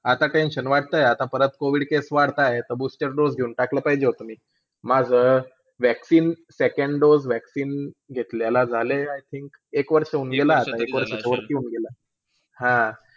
आता tension वाटतंय, आता COVID cases booster dose वाढतायत. देऊन वाटलं पाहिजे होता मी. माझं vaccine, second day. Second day vaccine घेतलेलं झालं आता एक वर्षहोऊन गेलं, एक वर्षाचा वरती होऊन गेलं. हा,